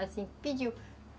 Assim, pediu.